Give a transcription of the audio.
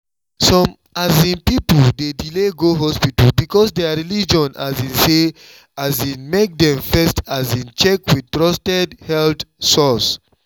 some um people dey delay go hospital because their religion um say um make dem first check with trusted health source.